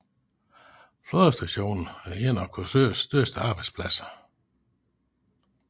Flådestationen er en af Korsørs største arbejdspladser